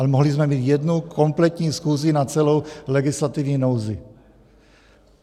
Ale mohli jsme mít jednu kompletní schůzi na celou legislativní nouzi.